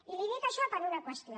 i li dic això per una qüestió